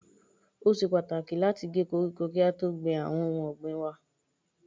Ó ṣe pàtàkì láti gé koríko kí á tó gbìn àwọn ohun ọ̀gbìn waa.